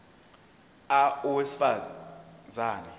a owesifaz ane